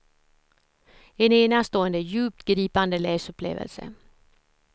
En enastående, djupt gripande läsupplevelse.